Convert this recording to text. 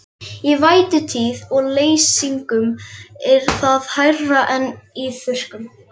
Í vætutíð og leysingum er það hærra en í þurrkum.